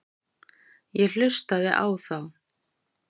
Ég hlustaði á þá.